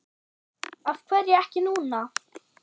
Af hverju ekki núna?